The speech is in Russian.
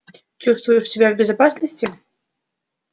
чувствуешь себя в безопасности